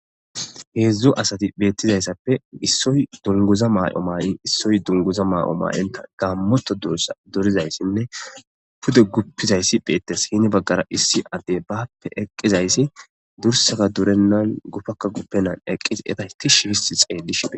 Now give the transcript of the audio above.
Heedzdzu asati beettizayssappe issoy dunguza maa'o maay'i issoy dunguza maa'o maa'inta gaammoto dursa dorizayssinne pude guppizayssi beettes hine baggara issi addey bappe eqqizayssi dursaza durennan gufakka guppenan eqqisi eta hti shi fisi xeellishie